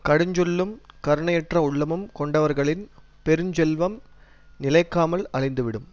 கடுஞ்சொல்லும் கருணையற்ற உள்ளமும் கொண்டவர்களின் பெருஞ்செல்வம் நிலைக்காமல் அழிந்துவிடும்